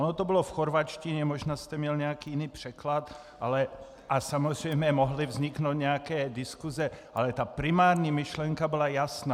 Ono to bylo v chorvatštině, možná jste měl nějaký jiný překlad a samozřejmě mohly vzniknout nějaké diskuse, ale ta primární myšlenka byla jasná.